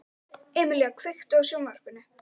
Emelía, kveiktu á sjónvarpinu.